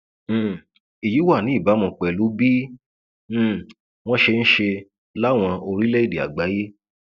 um èyí wà ní ìbámu pẹlú bí um wọn ṣe ń ṣe láwọn orílẹèdè àgbáyé